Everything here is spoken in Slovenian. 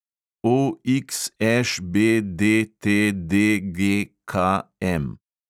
OXŠBDTDGKM